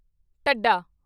ਢੱਡਾ